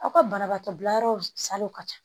Aw ka banabaatɔ bila yɔrɔ salo ka ca